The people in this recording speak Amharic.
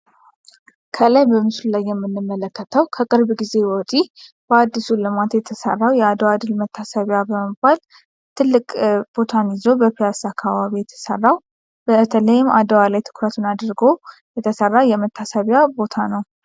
ከላይ በምስሉ ላይ የምንመለከተው ከቅርብ ጊዜ ወዲህ በአዲሱ ልማት የተሰራው የአድዋ ድል መታሰቢያ በመባል ትልቅ ቦታን ይዞ በፒያሳ አካባቢ የተሰራ በተለይም አድዋ ላይ ትኩረቱን አድርጎ የተሰራ የመታሰቢያ ቦታ ነው።